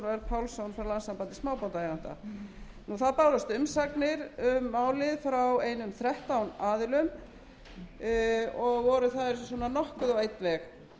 pálsson frá landssambandi smábátaeigenda umsagnir um málið bárust frá einum þrettán aðilum og voru þær nokkuð á einn veg